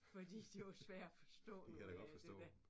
Fordi de var svære at forstå nogle af det der